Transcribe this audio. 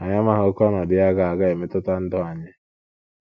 Anyị amaghị ókè ọnọdụ ya a ga - a ga - emetụta ndụ anyị.